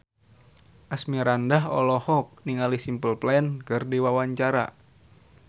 Asmirandah olohok ningali Simple Plan keur diwawancara